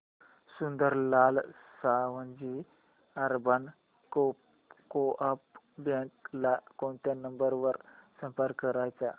Sundarlal Savji urban co-op bank ला कोणत्या number वर संपर्क करायचा